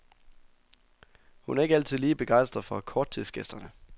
Hun er ikke altid lige begejstret for korttidsgæsterne.